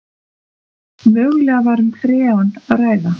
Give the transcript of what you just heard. Mögulega var um freon að ræða